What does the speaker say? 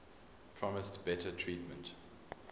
promised better treatment